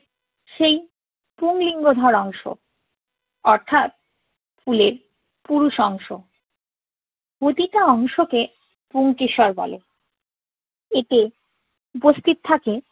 সেই পুংলিঙ্গ ধরা অংশ অর্থাৎ ফুলের পুরুষ অংশ। প্রতিটা অংশকে পুংকেশর বলে। এতে উপস্থিত থাকে।